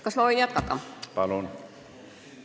Kas ma võin jätkata?